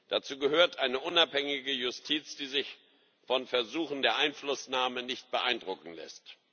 Dazu gehört eine unabhängige Justiz, die sich von Versuchen der Einflussnahme nicht beeindrucken lässt.